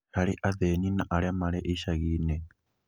Harĩ athĩni na arĩa mari icagi-inĩ